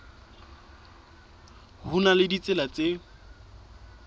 ho na le ditsela tse